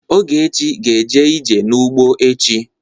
Ogechi ga-eje ije n'ugbo echi.